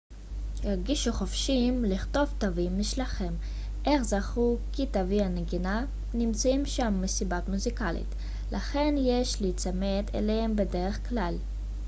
הרגישו חופשיים לכתוב תווים משלכם אך זכרו כי תווי הנגינה נמצאים שם מסיבה מוזיקלית לכן יש להיצמד אליהם בדרך כלל